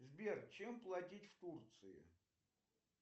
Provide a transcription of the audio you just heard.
сбер чем платить в турции